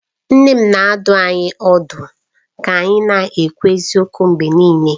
Nne m na-adụ anyị ọdụ ka anyị na-ekwu eziokwu mgbe niile